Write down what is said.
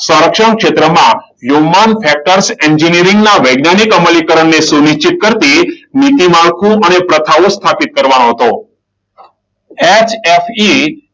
સંરક્ષણ ક્ષેત્રમાં human factors એન્જિનિયરિંગના વૈજ્ઞાનિકો અમલીકરણ ની સુનિશ્ચિત કરતી નીતિ માળખું અને પ્રથાઓ સ્થાપિત કરવાનો હતો. HFE